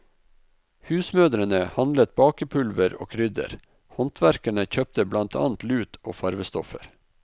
Husmødrene handlet bakepulver og krydder, håndverkerne kjøpte blant annet lut og farvestoffer.